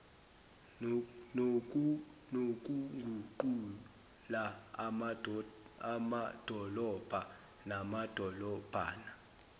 nokuguqula amadolobha namadolobhana